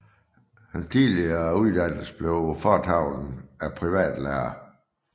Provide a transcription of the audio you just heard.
Hans tidlige uddannelse blev foretaget af privatlærere